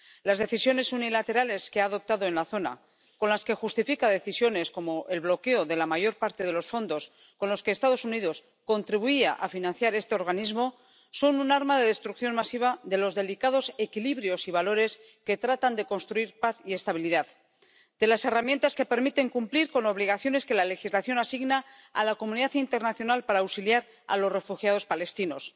Las decisiones unilaterales que ha adoptado en la zona, con las que justifica decisiones como el bloqueo de la mayor parte de los fondos con los que los Estados Unidos contribuían a financiar este organismo, son un arma de destrucción masiva de los delicados equilibrios y valores que tratan de construir paz y estabilidad, de las herramientas que permiten cumplir con obligaciones que la legislación asigna a la comunidad internacional para auxiliar a los refugiados palestinos.